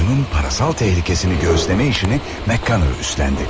Oyunun parasal tehlikesini göğüsleme işini MacConnor üstlendi.